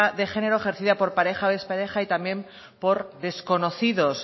de género ejercida por pareja expareja y también por desconocidos